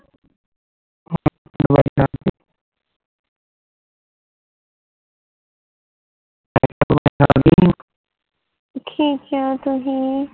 ਕੀ ਕਿਹਾ ਤੁਸੀਂ